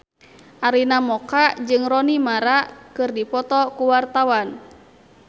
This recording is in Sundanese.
Arina Mocca jeung Rooney Mara keur dipoto ku wartawan